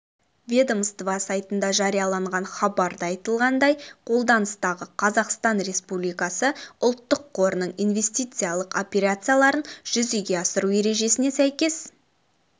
ведомство сайтында жарияланған хабарда айтылғандай қолданыстағы қазақстан республикасы ұлттық қорының инвестициялық операцияларын жүзеге асыру ережесіне сәйкес